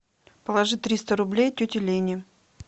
положи триста рублей тете лене